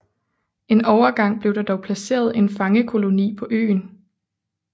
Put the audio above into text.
En overgang blev der dog placeret en fangekoloni på øen